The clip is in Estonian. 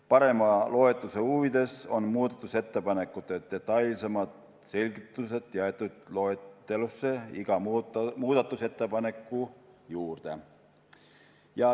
Parema loetavuse huvides on muudatusettepanekute detailsemad selgitused jäetud loetelusse iga muudatusettepaneku juurde.